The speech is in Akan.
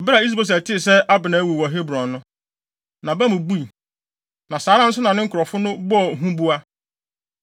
Bere a Is-Boset tee sɛ Abner awu wɔ Hebron no, nʼaba mu bui, na saa ara nso na ne nkurɔfo no bɔɔ huboa.